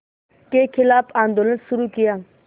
के ख़िलाफ़ आंदोलन शुरू किया